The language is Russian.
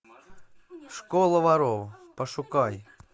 школа воров пошукай